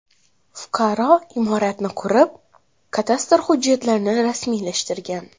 Fuqaro imoratni qurib, kadastr hujjatlarini rasmiylashtirgan.